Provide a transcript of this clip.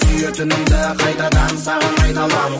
сүйетінімді қайтадан саған айта аламын